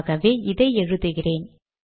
ஆகவே இதை எழுதுகிறேன்